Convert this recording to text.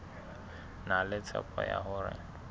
na le tshepo ya hore